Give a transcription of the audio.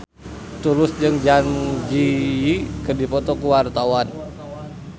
Tulus jeung Zang Zi Yi keur dipoto ku wartawan